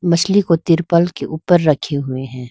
मछली को तिरपाल के ऊपर रखे हुए हैं।